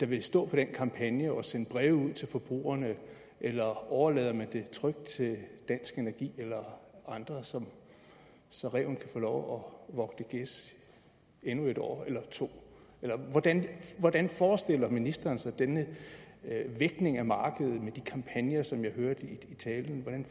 vil stå for den kampagne og sende breve ud til forbrugerne eller overlader man det trygt til dansk energi eller andre så så ræven kan få lov at vogte gæs endnu et år eller to hvordan hvordan forestiller ministeren sig denne vækning af markedet med de kampagner som jeg hørte i talen hvordan